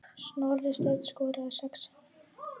Snorri Steinn skoraði sex sinnum.